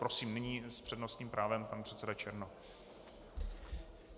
Prosím, nyní s přednostním právem pan předseda Černoch.